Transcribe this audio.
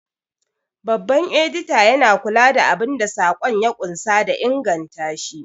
Babban Edita yana kula da abun da saƙon ya ƙunsa da ingantashi.